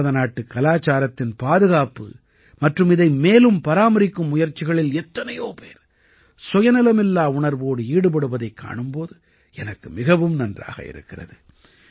பாரதநாட்டுக் கலாச்சாரத்தின் பாதுகாப்பு மற்றும் இதை மேலும் பராமரிக்கும் முயற்சிகளில் எத்தனையோ பேர் சுயநலமில்லா உணர்வோடு ஈடுபடுவதைக் காணும் போது எனக்கு மிகவும் நன்றாக இருக்கிறது